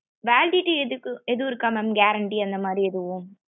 validity இதுக்கு ஏதும் இருக்க mam guarantee அந்த மாதிரி எதுவும்?